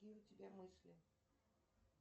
какие у тебя мысли